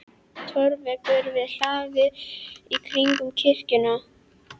Torfveggur var hlaðinn í hring um kirkjuna.